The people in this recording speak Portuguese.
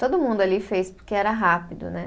Todo mundo ali fez porque era rápido, né?